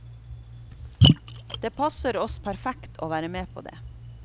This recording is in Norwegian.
Det passer oss perfekt å være med på det.